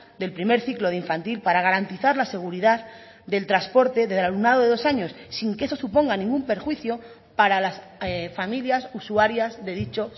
del primer ciclo de infantil para garantizar la seguridad del transporte del alumnado de dos años sin que eso suponga ningún perjuicio para las familias usuarias de dicho